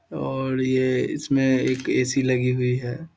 और ये इसमें एक ए.सी. लगी हुई है।